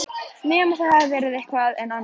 Nema það hafi verið eitthvað enn annað.